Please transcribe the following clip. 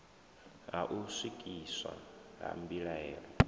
ha u swikiswa ha mbilaelo